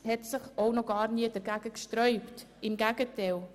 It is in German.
Die Justiz hat sich auch noch gar nie dagegen gesträubt, im Gegenteil.